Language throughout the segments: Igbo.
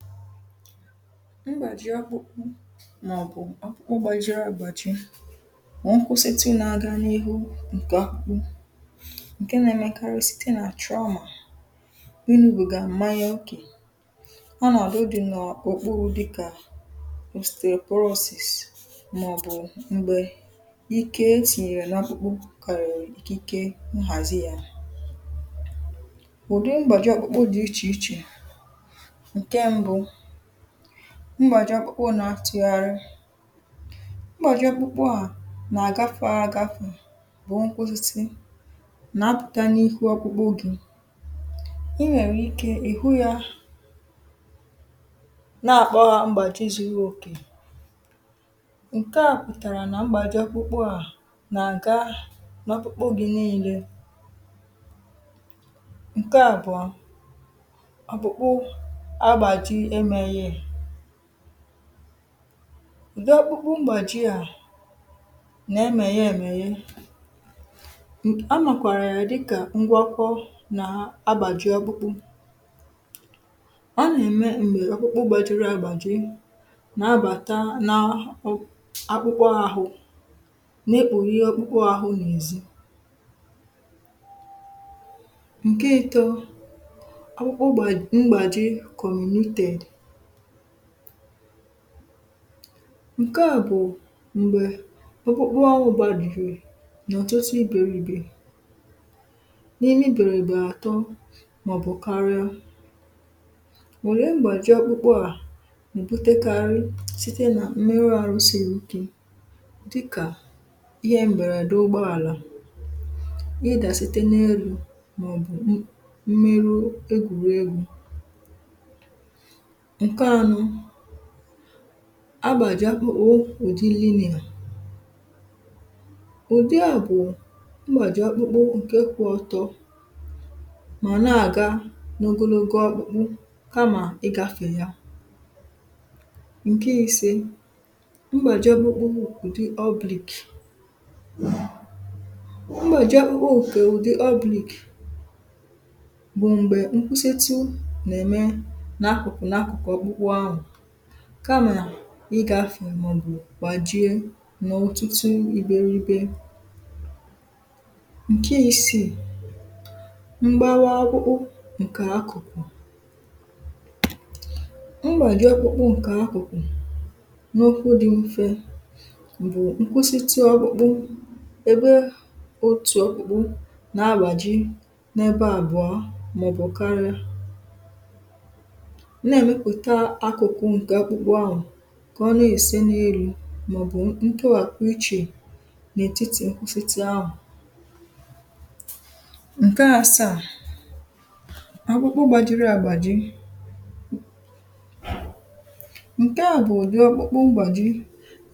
file 127 mgbàji ọkpụkpụ mà ọ̀ bụ̀ ọkpụkpụ gbajiri àgbàji bụ̀ nkwụsịtụ na aga n’ihu ǹkẹ̀ ọkpụkpụ, ǹkẹ na ẹmẹkarịsị site nà trauma inwubìgà m̀manya okè, ọ nà àdọ obì n’òkpurū dịkà mustecorosis mà ọ̀ bụ̀ m̀gbẹ̀ ike etìnyèrè nà ọkpụkpụ kàrị̀rị̀ ike nhàzi ya ụ̀dị magbàji ọkpụkpụ dị̄ ichè ichè. ǹkẹ mbụ, mgbàji ọkpụkpụ na atụgharịị mgbàji ọkpụkpụ à nà àgafe agafe bụ nkwụsịtụ na apụ̀ta n’ihu ọkpụkpụ gị̄. ị nwẹ̀rẹ̀ ike ị̀ hụ yā, nà àkpọ ya mgbàchi zuru òkè. ǹkẹ à pụ̀tàrà nà mgbàji ọkpụkpụ à nà àga n’ọkpụkpụ gị̄ nille. ǹkẹ àbụọ, ọkpụkpụ agbàji emēghè. ụ̀dị ọkpụkpụ mgbàji à nà ẹmẹghẹ ẹ̀mẹ̀ghẹ, a màkwàrà ya dịkà ngwọkọ na agbàji ọkpụkpụ. ọ nà èmè m̀gbè ọkpụkpụ gbajiri agbàji na abàta na akpụkpụ ahụ, na ekpòghe ọkpụkpụ ahụ n’èzi. ǹkẹ ịtọ, ọkpụkpụ mgbàji kọ̀rụ̀nụtẹ̀d. ǹkẹ à bụ̀ m̀gbè ọkpụkpụ ahụ gbajì n’ọ̀tụtụ ibèrìbè, n’imi bèrìbè àtọ mà ọ̀ bụ̀ karịa. òlee mgbàji ọkpụkpụ à nà èbutekarị sitè nà mmeru arụ siri ike, dịkà ịhẹ m̀bẹ̀rèdẹ ụgbọ àlà, na ịdà site n’elū, mà ọ̀ bụ̀ mmeru egwùregwū. ǹkẹ anọ, agbàji ọkpụkpụ ụ̀dịrị inì. ùdịà bụ̀ mgbàji ọkpụkpụ ǹke kwụ ọtọ, mà nà àga ogonogo ọkpụkpụ, kamà ịgāfè ya. ǹkẹ ise, mgbàji ọkpụkpụ ụ̀dị oblique. mgbàji ọkpụkpụ ǹkẹ̀ ụ̀dị oblique bụ̀ m̀gbè nkwusitu nà ème n’akụ̀kụ̀ n’akụ̀kụ̀ ọkpụkpụ ahụ̀. kamà nà ịgafè mà ọ̀ bụ̀ gbàjie, mà otutu iberibe. ǹkẹ isiì, mgbawa ọkpụkpụ ǹkẹ̀ akụ̀kụ̀. mgbàji ọkpụkpụ ǹkẹ̀ akụ̀kụ̀ na okwu dị mfẹ bụ̀rụ nkwusitu ọkpụkpụ, ebe otù ọkpụkpụ nà agbàji n’ebe àbụọ mà ọ̀ bụ̀ karịa, nà ẹ̀mẹpụ̀ta akụ̀kụ ǹkẹ̀ ọkpụkpụ ahụ̀, kà ọ nà èsi n’elū, mà ọ̀ bụ̀ nkẹwàpụ ichè n’ètiti nkwusitu ahụ̀. ǹkẹ asaà, ọkpụkpụ gbajiri agbàji, ǹkẹ à bụ̀ ụ̀dị ọkpụkpụ mgbàji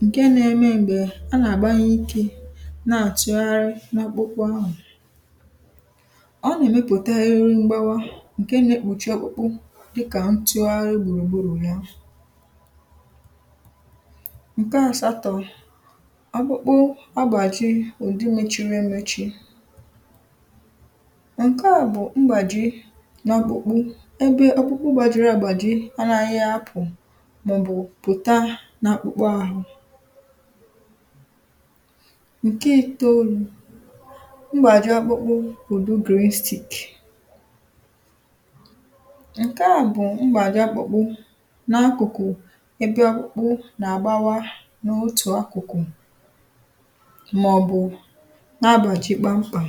ǹkẹ na ẹmẹ m̀gbè a nà àgbanye ikē nà àtụgharị n’ ọkpụkpụ ahụ̀. ọ nà èmepụ̀ta iru mgbawa ǹke na ekpùchi ọkpụkpụ dịkà ntịgharị gbùrù gburù. ǹkẹ asatọ̄, ọkpụkpụ agbàji ùdi mechiri emechi. ǹkẹ à bụ̀ mgbàji n’ọkpụkpụ ebe ọkpụkpụ gbajiri agbàji anaghị apụ̀, mà ọ̀ bụ̀ pụ̀ta n’ọkpụkpụ ahụ. ǹke ịtoolū, mgbàji ọkpụkpụ ụ̀dị green stick. ǹkẹ à bụ mgbàji ọkpụkpụ n’akụ̀kụ̀ ẹbẹ ọkpụkpụ nà àgbawa n’otù akụ̀kụ̀, mà ọ̀ bụ̀ na agbàji kpam kpàm.